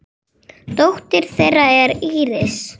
Dóttir þeirra er Íris.